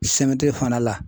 CMDT fana la